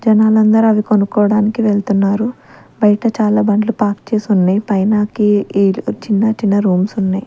జనాలందరూ అవి కొనుక్కోవడానికి వెళ్తున్నారు బయట చాలా బండ్లు పార్క్ చేసి ఉన్నాయి పైనకి ఈ చిన్న చిన్న రూమ్స్ ఉన్నాయి.